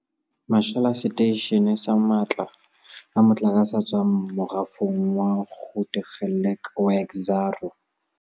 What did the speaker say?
Mashala a seteishene sa matla a motlakase a tswa morafong wa Grootegeluk wa Exxaro.